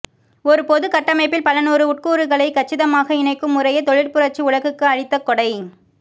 ஒரு பொதுக்கட்டமைப்பில் பலநூறு உட்கூறுகளை கச்சிதமாக இணைக்கும் முறையே தொழிற்புரட்சி உலகுக்கு அளித்த கொடை